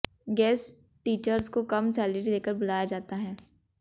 guest teachers को कम salary देकर बुलाया जाता है